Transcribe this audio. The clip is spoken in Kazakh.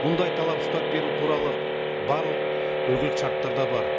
бұндай талап ұстап беру туралы барлық үлгілік шарттарда бар